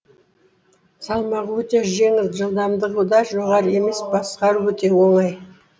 салмағы өте жеңіл жылдамдығы да жоғары емес басқару өте оңай